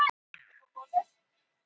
Mattína, ekki fórstu með þeim?